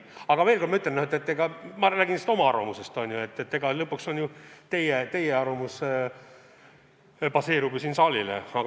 Aga veel kord, see on lihtsalt minu arvamus, mitte kogu selle saali arvamus.